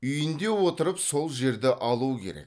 үйінде отырып сол жерді алу керек